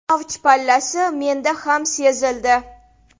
Avj pallasi menda ham sezildi.